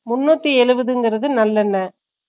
முன்னுத்தி எழுபதுகிறது நல்லண்ணை